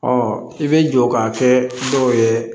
i bɛ jɔ ka kɛ dɔw ye